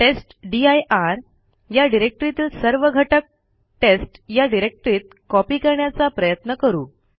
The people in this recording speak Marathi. टेस्टदीर या डिरेक्टरीतील सर्व घटक टेस्ट या डिरेक्टरीत कॉपी करण्याचा प्रयत्न करू